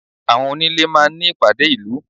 Àwọn onílé máa ń ní ìpàdé ìlú.